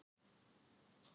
Það var amma hans